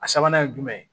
A sabanan ye jumɛn ye